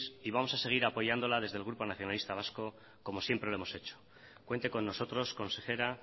y vamos a seguir apoyándola desde el grupo nacionalista vasco como siempre lo hemos hecho cuente con nosotros consejera